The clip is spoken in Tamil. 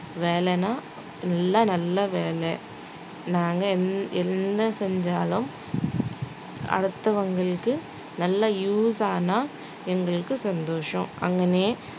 வேலைன்னா எல்லாம் நல்லா வேலை நாங்க என்~ என்ன செஞ்சாலும் அடுத்தவங்களுக்கு நல்லா use ஆனா எங்களுக்கு சந்தோஷம் அங்கனே